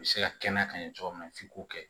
U bɛ se ka kɛnɛya ka ɲɛ cogo min na f'i k'o kɛ